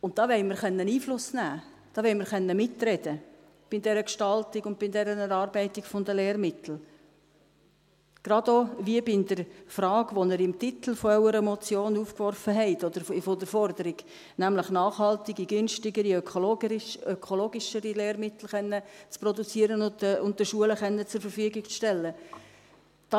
Da wollen wir Einfluss nehmen können, wir wollen bei der Gestaltung und bei der Erarbeitung der Lehrmittel mitreden können, genau wie auch bei der Frage, die Sie im Titel Ihrer Motion oder Forderung aufgeworfen haben, nämlich nachhaltigere, günstigere, ökologischere Lehrmittel produzieren zu können und den Schulen zur Verfügung stellen zu können.